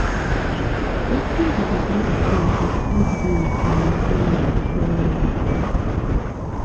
wetin be di best way to split bills and main ten ance fairly